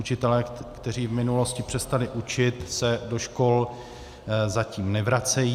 Učitelé, kteří v minulosti přestali učit, se do škol zatím nevracejí.